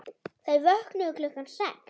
Þau vöknuðu klukkan sex.